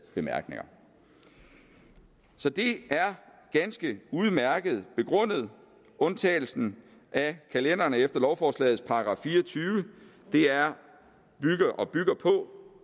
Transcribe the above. bemærkninger så det er ganske udmærket begrundet undtagelsen af kalenderne efter lovforslagets § fire og tyve bygger på